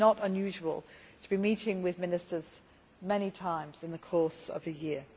It is not unusual to be meeting with Ministers many times in the course of a year.